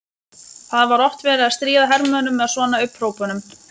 Það var oft verið að stríða hermönnunum með svona upphrópunum.